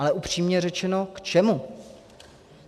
Ale upřímně řečeno k čemu?